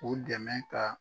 O dɛmɛ ka